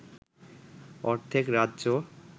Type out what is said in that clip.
অর্ধেক রাজ্য